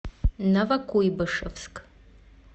новокуйбышевск